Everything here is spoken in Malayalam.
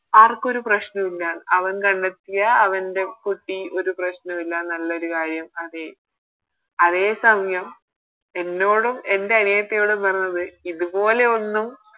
ആർക്കും ഒരു പ്രശ്നോല്ല അവൻ കണ്ടെത്തിയ അവൻറെ കുട്ടി ഒരു പ്രശ്നോ ഇല്ല നല്ലൊരു കാര്യം അതെ അതേസമയം എന്നോടും എൻറെ അനിയത്തിയോടും പറഞ്ഞത് ഇതുപോലെ ഒന്നും